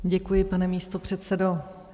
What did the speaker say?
Děkuji, pane místopředsedo.